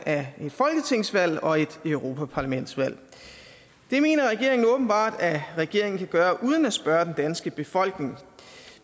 af et folketingsvalg og et europaparlamentsvalg det mener regeringen åbenbart at regeringen kan gøre uden at spørge den danske befolkning